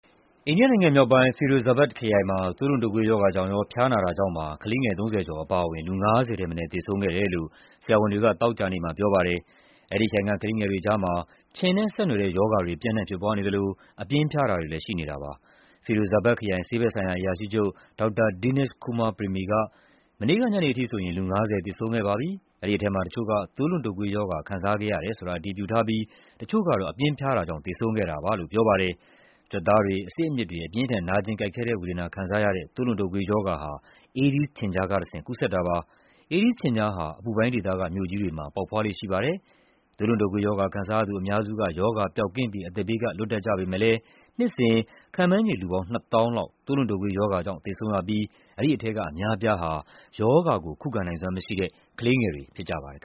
အိန္ဒိယနိုင်ငံမြောက်ပိုင်း၊ Firozabad ခရိုင်မှာ သွေးလွန်တုပ်ကွေးရောဂါကြောင့်ရော ဖျားနာတာကြောင့်ပါ ကလေးငယ် ၃၀ ကျော် အပါအဝင် လူ ၅၀ ထက်မနည်း သေဆုံးခဲ့တယ်လို့ ဆရာဝန်တွေက သောကြာနေ့မှာ ပြောပါတယ်။ အဲဒီခရိုင်က ကလေးငယ်တွေကြားမှာ ခြင်နဲ့ဆက်နွှယ်တဲ့ ရောဂါတွေ ပျံ့နှံ့ဖြစ်ပွားနေသလို အပြင်းဖျားတာတွေလည်း ရှိနေတာပါ။ Firozabad ခရိုင် ဆေးဘက်ဆိုင်ရာ အရာရှိချုပ် ဒေါက်တာ Dinesh Kumar Premi က "မနေ့က ညနေထိဆိုရင် လူ ၅၀ သေဆုံးခဲ့ပါပြီ၊ အဲဒီထဲမှာ တချို့က သွေးလွန်တုပ်ကွေးရောဂါ ခံစားခဲ့ရတယ်ဆိုတာ အတည်ပြုထားပြီး တချို့ကတော့ အပြင်းဖျားတာကြောင့် သေဆုံးခဲ့တာပါ" လို့ ပြောပါတယ်။ ကြွက်သားတွေ၊ အဆစ်အမြစ်တွေ အပြင်းအထန် နာကျင်ကိုက်ခဲတဲ့ဝေဒနာ ခံစားရတဲ့ သွေးလွန်တုပ်ကွေးရောဂါဟာ အေးဒီးစ် ခြင်ကျားကတဆင့် ကူးစက်တာပါ။ အေးဒီးစ်ခြင်ကျားဟာ အပူပိုင်းဒေသက မြို့ကြီးတွေမှာ ပေါက်ဖွားလေ့ရှိပါတယ်။ သွေးလွန်တုပ်ကွေးရောဂါ ခံစားရသူ အများစုက ရောဂါပျောက်ကင်းပြီး အသက်ဘေးက လွတ်တတ်ကြပေမယ့်လည်း နှစ်စဉ် ခန့်မှန်းခြေ လူပေါင်း ၂၀,၀၀၀ လောက် သွေးလွန်တုပ်ကွေးရောဂါကြောင့် သေဆုံးရပြီး အဲဒီထဲက အများအပြားဟာ ရောဂါကို ခုခံနိုင်စွမ်းမရှိတဲ့ ကလေးငယ်တွေ ဖြစ်ကြပါတယ်